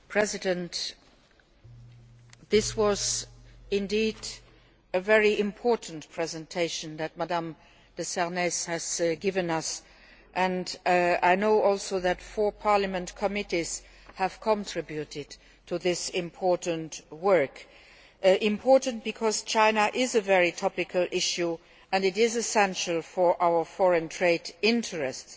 Mr President, this was indeed a very important presentation that Ms de Sarnez has given us and I know also that four Parliament committees have contributed to this important work important because China is a very topical issue and essential for our foreign trade interests.